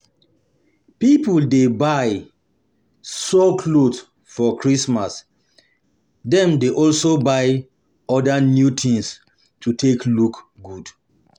Pipo de buy or sew cloth for christmas dem de also buy other new things to take look good